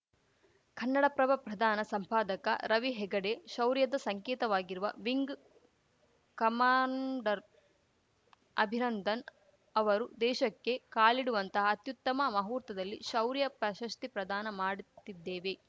ಕನ್ನಡಪ್ರಭ ಪ್ರಧಾನ ಸಂಪಾದಕ ರವಿ ಹೆಗಡೆ ಶೌರ್ಯದ ಸಂಕೇತವಾಗಿರುವ ವಿಂಗ್‌ ಕಮಾಂಡರ್‌ ಅಭಿನಂದನ್‌ ಅವರು ದೇಶಕ್ಕೆ ಕಾಲಿಡುವಂತಹ ಅತ್ಯುತ್ತಮ ಮುಹೂರ್ತದಲ್ಲಿ ಶೌರ್ಯ ಪ್ರಶಸ್ತಿ ಪ್ರದಾನ ಮಾಡುತ್ತಿದ್ದೇವೆ